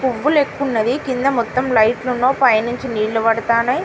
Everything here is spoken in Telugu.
పువ్వులేకయున్నవి కింద మొత్తం లైట్లు ఉన్న పైనుంచి నీళ్లు పద్దతనయ్